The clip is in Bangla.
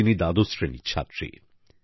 তিনি দ্বাদশ শ্রেণীর ছাত্রী